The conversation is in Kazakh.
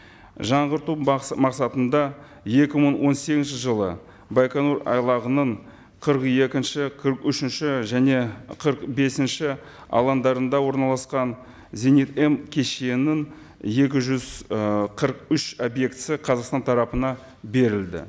жаңғырту мақсатында екі мың он сегізінші жылы байқоңыр айлағының қырық екінші қырық үшінші және қырық бесінші алаңдарында орналасқан зенит м кешенін екі жүз ы қырық үш объектісі қазақстан тарапына берілді